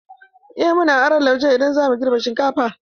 Eh, muna aron lauje idan zamu girbe shinkafa.